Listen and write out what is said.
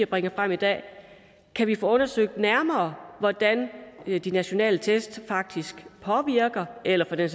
bringer frem i dag kan vi få undersøgt nærmere hvordan de nationale test faktisk påvirker eller for den